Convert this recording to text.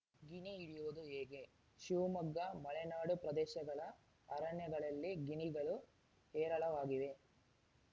ಗಿಣಿ ಹಿಡಿಯೋದು ಹೇಗೆ ಶಿವಮೊಗ್ಗ ಮಲೆನಾಡು ಪ್ರದೇಶಗಳ ಅರಣ್ಯಗಳಲ್ಲಿ ಗಿಣಿಗಳು ಹೇರಳವಾಗಿವೆ